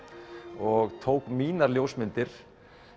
og tók mínar ljósmyndir